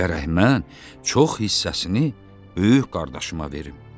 Gərək mən çox hissəsini böyük qardaşıma verim.